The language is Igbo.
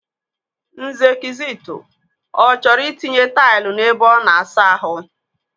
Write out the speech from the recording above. Nze Kizito, ọ chọọrọ itinye taịlụ n'ebe ọ na-asa ahụ mma.